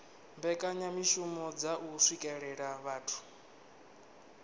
mbekanyamishumo dza u swikelela vhathu